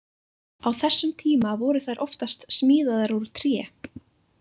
Á þessum tíma voru þær oftast smíðaðar úr tré.